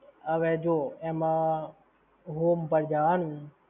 હવે જો એમાં, home પર જવાનું!